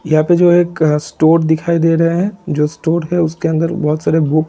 यहा पे जो एक अ स्टोर दिखाई दे रहे है जो स्टोर है उसके अंदर बहुत सारे बुक --